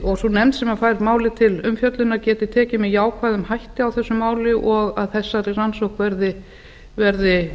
og sú nefnd sem fær mæli til umfjöllunar geti tekið með jákvæðum hætti á þessu máli og að þessari rannsókn verði